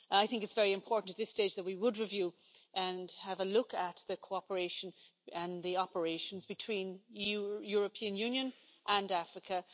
I think it's very important at this stage that we would review and have a look at the cooperation and the operations between the European Union and Africa.